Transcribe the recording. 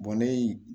ne ye